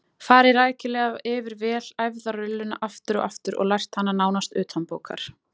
Farið rækilega yfir vel æfða rulluna aftur og aftur og lært hana nánast utanbókar.